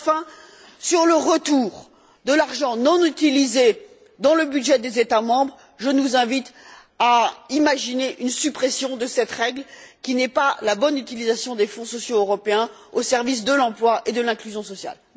Et enfin, sur le retour de l'argent non utilisé dans le budget des États membres, je nous invite à imaginer une suppression de cette règle qui n'est pas la bonne utilisation des fonds sociaux européens au service de l'emploi et de l'inclusion sociale.